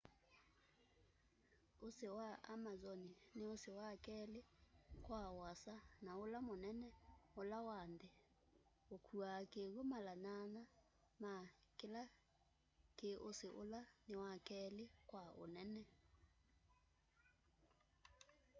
usi wa amazon ni usi wa keli kwa uasa na ula munene ula wa nthi ukuaa kiwu mala 8 ma kila ki usi ula ni wa keli kwa unene